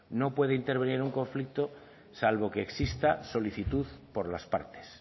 no puede intervenir en un conflicto salvo que exista solicitud por las partes